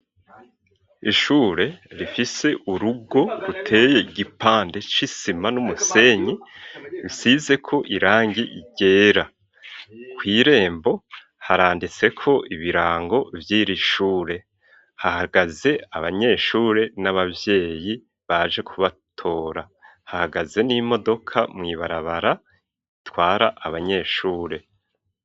Ishure rifise urugo ruteye igipande c'isima n'umusenyi, risizeko irangi ryera. Kw'irembo haranditseko ibirango vyiri shure, hahagaze abanyeshure n'abavyeyi baje kubatora. Hahagaze n'imodoka mu ibarabara itwara abanyeshure.